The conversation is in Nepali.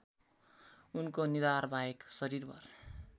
उनको निधारबाहेक शरीरभर